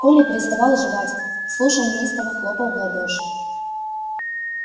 коля переставал жевать слушал неистово хлопал в ладоши